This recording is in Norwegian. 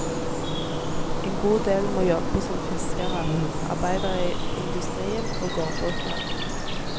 En god del må jobbe som fiskere, arbeidere i industrien og gårdbrukere.